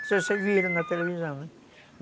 Não sei se vocês viram na televisão, né?